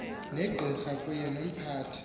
negqira kunye nomphathi